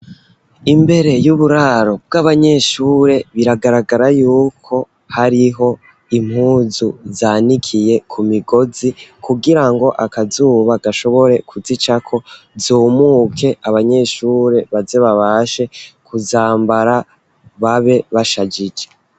Imbere y'uburaro bw'abanyeshure biragaragara yuko hariho impuzu zanikiye ku migozi kugira ngo akazuba gashobore kuzica ko zumuke abanyeshure baze babashe kuzambara babe bashajije.